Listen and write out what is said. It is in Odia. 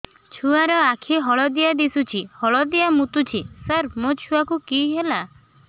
ଛୁଆ ର ଆଖି ହଳଦିଆ ଦିଶୁଛି ହଳଦିଆ ମୁତୁଛି ସାର ମୋ ଛୁଆକୁ କି ହେଲା